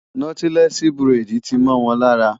Nọ́tílẹ́ẹ̀sì buredì ti mọ́ wọn lára.